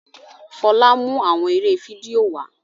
Fola n mú awọn eré fídíò wá